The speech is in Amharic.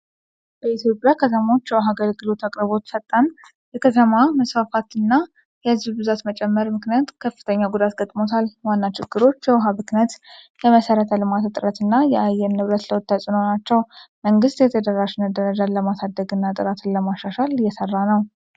በኢትዮጵያ ከተሞች የውሃ አገልግሎት አቅርቦት ፈጣን የከተማ መስፋፋትና የህዝብ ብዛት መጨመር ምክንያት ከፍተኛ ፈተና ገጥሞታል። ዋና ችግሮች የውሃ ብክነት፣ የመሰረተ ልማት እጥረትና የአየር ንብረት ለውጥ ተጽእኖ ናቸው። መንግስት የተደራሽነት ደረጃን ለማሳደግና ጥራትን ለማሻሻል እየሰራ ነው።